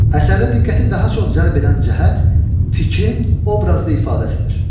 Əsərdə diqqəti daha çox cəlb edən cəhət fikrin obrazlı ifadəsidir.